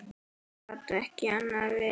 Það gat ekki annað verið.